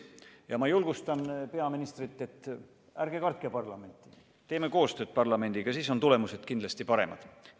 Ja ma julgustan peaministrit, et ärge kartke parlamenti, tehke parlamendiga koostööd, siis on tulemused kindlasti paremad.